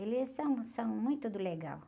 Eles são, são muito do legal.